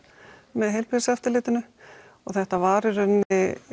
með Heilbrigðiseftirlitinu og þetta var í rauninni